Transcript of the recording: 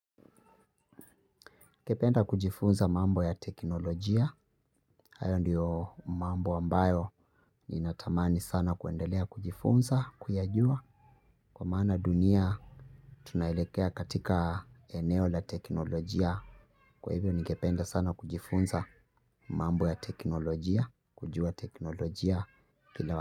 Ningependa kujifunza mambo ya teknolojia. Hayo ndiyo mambo ambayo ninatamani sana kuendelea kujifunza, kuyajua. Kwa maana dunia tunaelekea katika eneo la teknolojia. Kwa hivyo ningependa sana kujifunza mambo ya teknolojia. Kujua teknolojia.